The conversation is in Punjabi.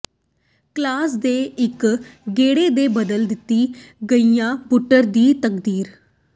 ਕਲਾਮ ਦੇ ਇੱਕ ਗੇੜੇ ਨੇ ਬਦਲ ਦਿੱਤੀ ਗਹਿਰੀ ਬੁੱਟਰ ਦੀ ਤਕਦੀਰ